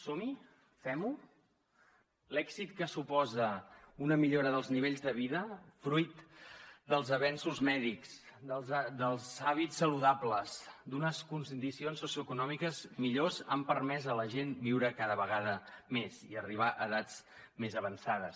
som hi fem ho l’èxit que suposa una millora dels nivells de vida fruit dels avenços mèdics dels hàbits saludables d’unes condicions socioeconòmiques millors han permès a la gent viure cada vegada més i arribar a edats més avançades